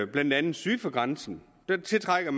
blandt andet syd for grænsen der tiltrækker